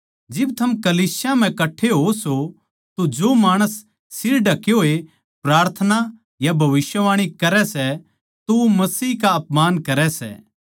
जिब थम कलीसिया म्ह कठ्ठे होओ सों तो जो माणस सिर ढके होए प्रार्थना या भविष्यवाणी करै सै वो मसीह का अपमान करै सै